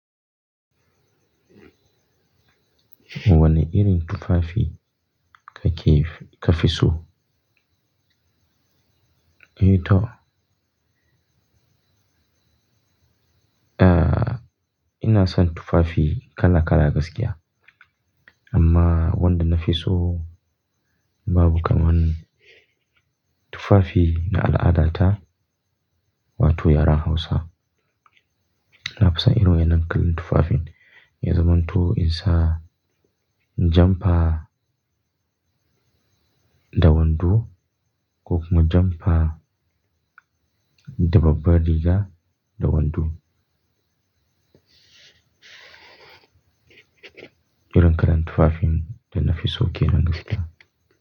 Wane irin tufafi kake ka fi so? Eh toh. Ina son tufafi kala kala gaskiya. Amma, wanda na fi so babu kaman tufafi na al'adata wato yaren Hausa. Na fi son irin wa'innan kalan tufafin. Ya zamanto in sa jumper da wando, ko kuma jumper da babban riga da wando. Irin kalan tufafin da na fi so kenan gaskiya.